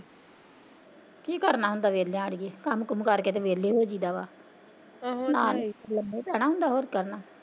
ਕੀ ਕਰਨਾ ਹੁੰਦਾ ਵਿਹਲਿਆਂ ਅੜੀਏ ਕੰਮ ਕਾਰ ਕਰਕੇ ਵਿਹਲੇ ਹੋ ਜਾਈਦਾ ਵਾ ਆਹੋ ਇਹ ਤਾਂ ਨਾਲੇ ਲੰਮਾ ਹੀ ਪੈਣਾ ਹੁੰਦਾ ਹੋਰ ਕਰਨਾ।